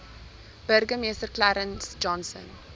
burgemeester clarence johnson